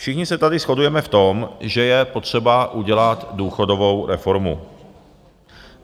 Všichni se tady shodujeme v tom, že je potřeba udělat důchodovou reformu.